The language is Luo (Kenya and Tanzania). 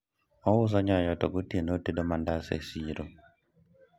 ouso nyoyo to gotieno otedo mandas e siro